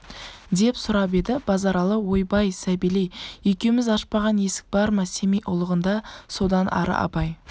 деп сұрап еді базаралы ойбай сабелей екеуміз ашпаған есік бар ма семей ұлығында содан ары абай